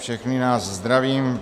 Všechny vás zdravím.